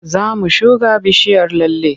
Za mu shuga bishiyar lalle.